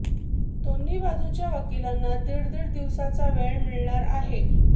दोन्ही बाजूच्या वकिलांना दीड दीड दिवसांचा वेळ मिळणार आहे